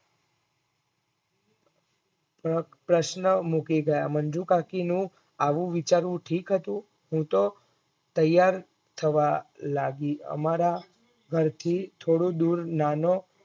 પ્રશ્ન મૂકી ગયા મંજુકાકી નું આવું વિચારવું ઠીક હતું હું તો ત્યાર થવા લાગી અમારા ઘરથી થોડું દૂર નાનો